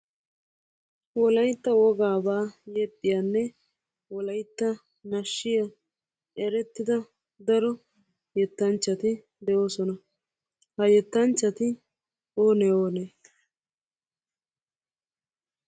Wolaytta wogaaba yexxiyanne wolaytta nashshiya erettida daro yetanchchati de'oosona. Ha yettanchchati oonee oonee?